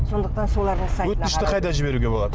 сондықтан солардың өтінішті қайда жіберуге болады